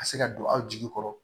Ka se ka don aw jigi kɔrɔ